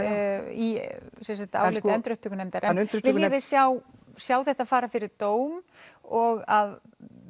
í áliti endurupptökunefndar viljiði sjá sjá þetta fara fyrir dóm og að